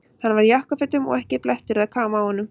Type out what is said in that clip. Hann var í jakkafötum og ekki blettur eða káma á honum.